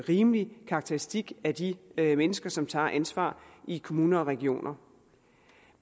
rimelig karakteristik af de mennesker som tager ansvar i kommuner og regioner